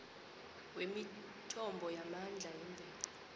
wemithombo yamandla yemvelo